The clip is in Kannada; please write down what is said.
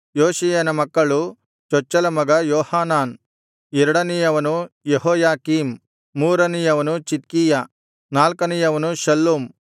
ಯೋಷೀಯನ ಮಕ್ಕಳು ಚೊಚ್ಚಲ ಮಗ ಯೋಹಾನಾನ್ ಎರಡನೆಯವನು ಯೆಹೋಯಾಕೀಮ್ ಮೂರನೆಯವನು ಚಿದ್ಕೀಯ ನಾಲ್ಕನೆಯವನು ಶಲ್ಲೂಮ್